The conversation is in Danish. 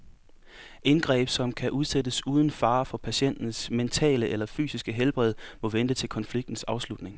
Indgreb, som kan udsættes uden fare for patientens mentale eller fysiske helbred, må vente til konfliktens afslutning.